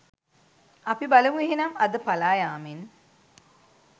අපි බලමු එහෙනම් අද පලායාමෙන්